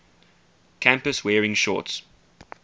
campus wearing shorts